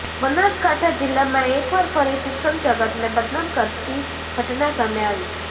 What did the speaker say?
બનાસકાંઠા જીલ્લામાં એકવાર ફરી શિક્ષણ જગતને બદનામ કરતી ઘટના સામે આવી છે